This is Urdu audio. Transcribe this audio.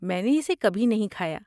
میں نے اسے کبھی نہیں کھایا۔